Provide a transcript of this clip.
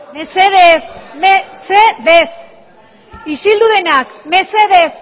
mesedez mesedez isildu denak mesedez